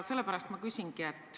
Sellepärast ma küsingi.